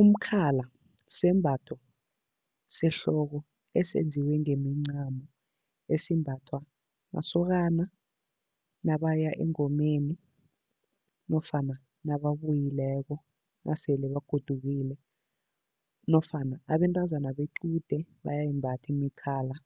Umkhala sembatho sehloko esenziwe ngemincamo, esimbathwa masokana nabaya engomeni nofana nababuyileko nasele bagodukile nofana abentazana bequde bayayimbatha imikhala